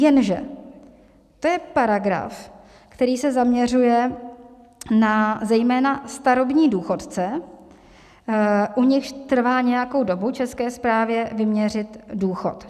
Jenže to je paragraf, který se zaměřuje zejména na starobní důchodce, u nichž trvá nějakou dobu České správě vyměřit důchod.